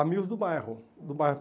Amigos do bairro, do bairro.